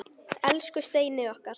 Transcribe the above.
Elsku Steini okkar.